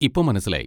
ഇപ്പൊ മനസ്സിലായി.